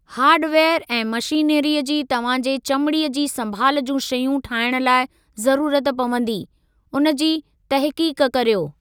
Hardware ऐं मशीनरीअ जी तव्हां जे चमिड़ीअ जी संभाल जूं शयूं ठाहिण लाइ ज़रूरत पवंदी, उन जी तहक़ीक़ कर्यो।